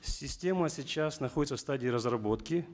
система сейчас находится в стадии разработки